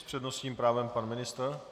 S přednostním právem pan ministr.